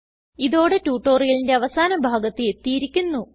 ഇതോടെ ട്യൂട്ടോറിയലിന്റെ അവസാന ഭാഗത്ത് എത്തിയിരിക്കുന്നു